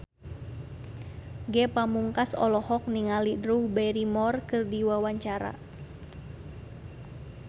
Ge Pamungkas olohok ningali Drew Barrymore keur diwawancara